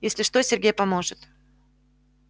если что сергей поможет